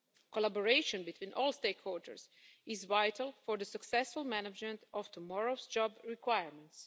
Collaboration between all stakeholders is vital for the successful management of tomorrow's job requirements.